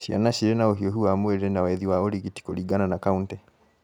Ciana cirĩ na ũhiũhu wa mwĩrĩ na wethi wa ũrigiti kũringana na kauntĩ